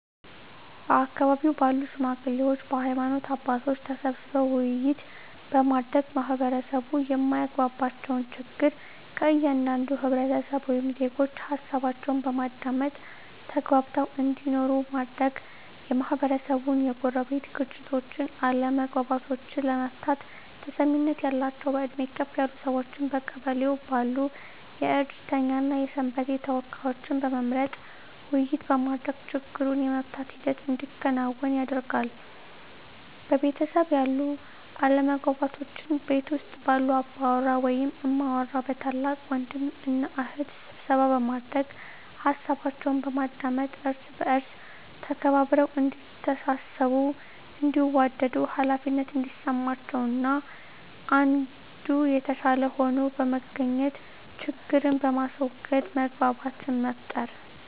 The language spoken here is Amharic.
በአካባቢው ባሉ ሽማግሌዎች በሀይማኖት አባቶች ተሰብስበው ውይይት በማድረግ ማህበረሰቡ የማያግባባቸውን ችግር ከእያንዳንዱ ህብረተሰብ ወይም ዜጎች ሀሳባቸውን በማዳመጥ ተግባብተው እንዲኖሩ ማድረግ, የማህበረሰቡን የጎረቤት ግጭቶችን አለመግባባቶችን ለመፍታት ተሰሚነት ያላቸውን በእድሜ ከፍ ያሉ ሰዎችን በቀበሌው ባሉ የእድርተኛ እና የሰንበቴ ተወካዮችን በመምረጥ ውይይት በማድረግ ችግሩን የመፍታት ሂደት እንዲከናወን ያደርጋሉ። በቤተሰብ ያሉ አለመግባባቶችን ቤት ውስጥ ባሉ አባወራ ወይም እማወራ በታላቅ ወንድም እና እህት ስብሰባ በማድረግ ሀሳባቸውን በማዳመጥ እርስ በእርስ ተከባብረው እዲተሳሰቡ እንዲዋደዱ ሃላፊነት እንዲሰማቸው አንዱ ከአንዱ የተሻለ ሆኖ በመገኘት ችግርን በማስዎገድ መግባባትን መፍጠር።